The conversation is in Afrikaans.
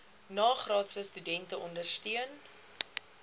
nagraadse studente ondersteun